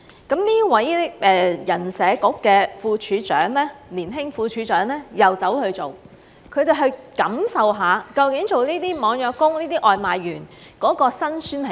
那麼這位人社局的年輕副處長又去做，去感受一下究竟做這些網約工、外賣員的辛酸是甚麼。